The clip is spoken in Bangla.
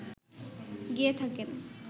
গেয়ে থাকেন